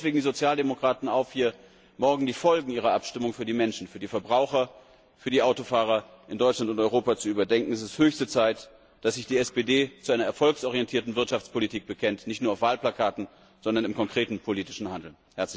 Ich fordere deswegen die Sozialdemokraten auf, morgen die Folgen ihrer Abstimmung für die Menschen, für die Verbraucher, für die Autofahrer in Deutschland und Europa zu überdenken. Es ist höchste Zeit, dass sich die SPD zu einer erfolgsorientierten Wirtschaftspolitik bekennt nicht nur auf Wahlplakaten, sondern im konkreten politischen Handeln.